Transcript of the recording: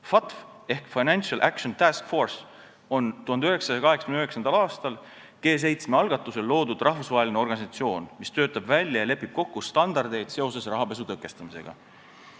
FATF ehk Financial Action Task Force on 1989. aastal G7 algatusel loodud rahvusvaheline organisatsioon, mis töötab välja ja lepib kokku standardeid seoses rahapesu tõkestamisega.